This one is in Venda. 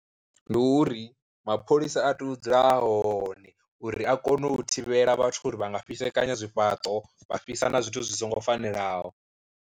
Ndi uri mapholisa a tea u dzula a hone uri a kone u thivhela vhathu uri vha nga fhisekanya zwifhaṱo, vha fhisa na zwithu zwi songo fanelaho.